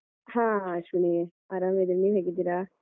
ಹ ಅಶ್ವಿನಿ ಆರಾಮಿದೀನೆ ನೀವು ಹೇಗಿದ್ದೀರಾ?